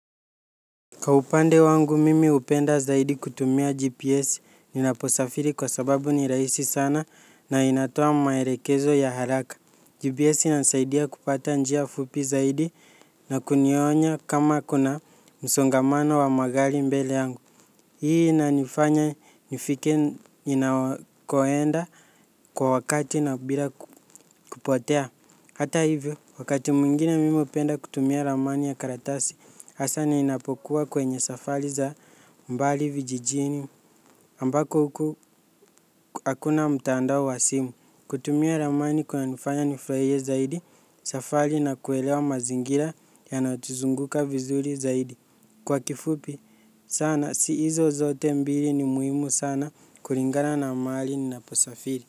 Kwa upande wangu mimi hupenda zaidi kutumia GPS ninaposafiri kwa sababu ni rahisi sana na inatoa maelekezo ya haraka. GPS inanisaidia kupata njia fupi zaidi na kunionya kama kuna msongamano wa magari mbele yangu. Hii inanifanya nifike ninakoenda kwa wakati na bila kupotea. Hata hivyo, wakati mwingine mimi hupenda kutumia ramani ya karatasi, hasa ninapokuwa kwenye safari za mbali vijijini ambako huku hakuna mtandao wa simu. Kutumia ramani kunanifanya nifurahie zaidi, safari na kuelewa mazingira yanatuzunguka vizuri zaidi. Kwa kifupi sana, si hizo zote mbili ni muhimu sana kulingana na mahali ninaposafiri.